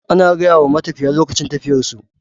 Ana gayama matafiya lokacin tafiyar su